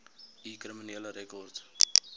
u kriminele rekord